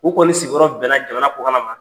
U kɔni sigiyɔrɔ bɛnna jamana kƆkanna ma .